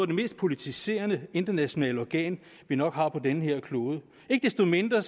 de mest politiserende internationale organer vi nok har på den her klode ikke desto mindre